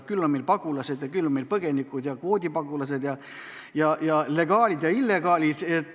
Küll on meil pagulased ja küll on meil põgenikud, küll kvoodipagulased ja legaalid ja illegaalid.